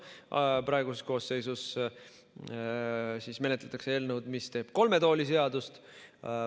Praeguses koosseisus menetletakse eelnõu, mis teeb kolme tooli seadust.